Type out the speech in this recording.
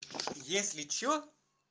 если что